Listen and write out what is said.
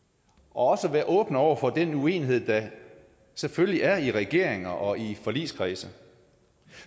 også at være åbne over for den uenighed der selvfølgelig er i regeringer og i forligskredse